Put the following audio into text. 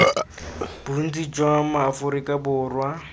bontsi jwa ma aforika borwa